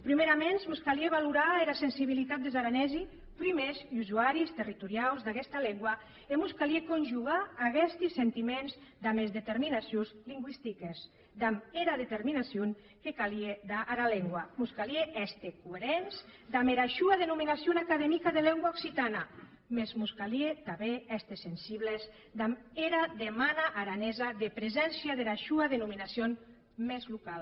prumèraments mos calie valorar era sensibilitat des aranesi prumèrs usuaris territoriaus d’aguesta lengua e mos calie conjugar aguesti sentiments damb es determinacions lingüistiques damb era determinacion que calia dar ara lengua mos calie èster coerents damb era sua denominacion academica de lengua occitana mès mos calie tanben èster sensibles damb era demana aranesa de preséncia dera sua denominacion mès locala